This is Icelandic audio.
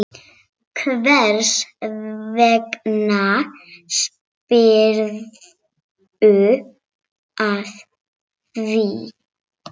Hvers vegna spyrðu að því?